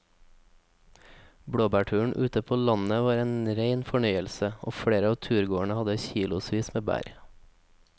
Blåbærturen ute på landet var en rein fornøyelse og flere av turgåerene hadde kilosvis med bær.